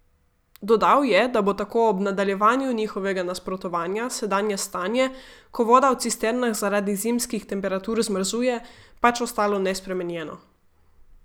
Dodal je, da bo tako ob nadaljevanju njihovega nasprotovanja sedanje stanje, ko voda v cisternah zaradi zimskih temperatur zmrzuje, pač ostalo nespremenjeno.